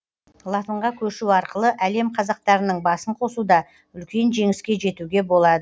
латынға көшу арқылы әлем қазақтарының басын қосуда үлкен жеңіске жетуге болады